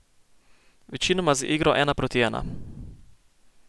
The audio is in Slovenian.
Večinoma z igro ena proti ena.